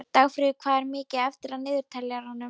Dagfríður, hvað er mikið eftir af niðurteljaranum?